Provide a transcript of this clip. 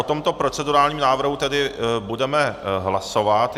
O tomto procedurálním návrhu tedy budeme hlasovat.